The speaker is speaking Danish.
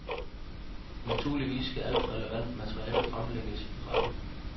Naturligvis skal alt relevant materiale fremlægges i retten.